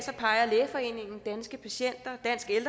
peger lægeforeningen danske patienter